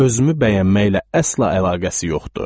Özümü bəyənməklə əsla əlaqəsi yoxdur.